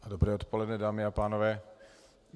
Dobré odpoledne, dámy a pánové.